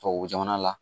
Tubabu jamana la